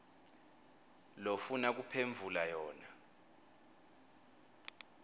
lofuna kuphendvula yona